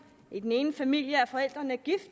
i den ene familie er forældrene gift